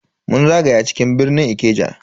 Mun zagaya cikin birnin Ikeja